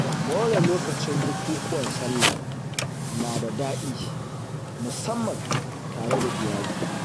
More lokacin bukukuwan Sallah nada daɗi, musamman tare da iyali.